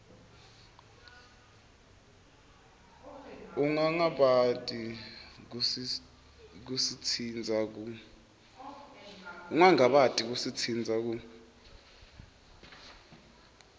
ungangabati kusitsintsa ku